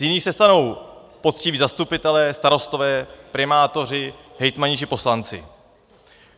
Z jiných se stanou poctiví zastupitelé, starostové, primátoři, hejtmani či poslanci.